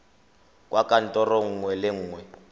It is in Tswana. kwa kantorong nngwe le nngwe